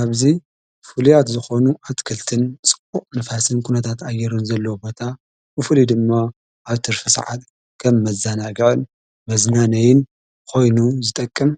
ኣብዙይ ፍልያት ዝኾኑ ኣትክልትን ጽቊቕ ንፋሰን ኲነታትኣየሩን ዘለዉ ቦታ ብፉሉዩ ድማ ኣብ ትርፊ ሰዓት ከብ መዛናግዐን መዝናነይን ኾይኑ ዝጠቅም